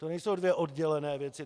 To nejsou dvě oddělené věci.